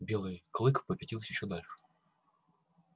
белый клык попятился ещё дальше